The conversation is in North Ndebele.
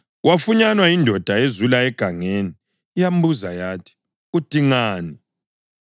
wafunyanwa yindoda ezula egangeni yambuza yathi, “Udingani?”